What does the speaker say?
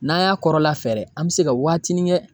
N'an y'a kɔrɔla fɛɛrɛ an bɛ se ka waatinin kɛ.